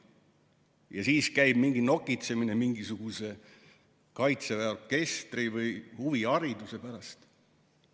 Aga siis käib mingi nokitsemine mingisuguse Kaitseväe orkestri või huvihariduse pärast.